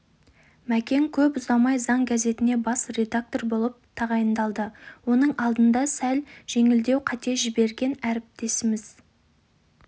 мәкең көп ұзамай заң газетіне бас редактор болып тағайындалды оның алдында сәл жеңілдеу қате жіберген әріптесіміз